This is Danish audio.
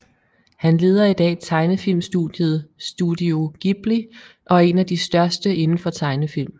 Han leder i dag tegnefilmstudiet Studio Ghibli og er en af de største indenfor tegnefilm